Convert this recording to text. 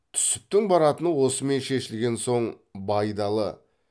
түсіптің баратыны осымен шешілген соң байдалы